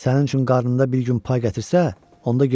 Sənin üçün qarnında bir gün pay gətirsə, onda gec olar.